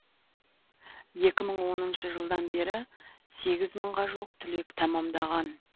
екі мың оныншы жылдан бері сегіз мыңға жуық түлек тәмамдаған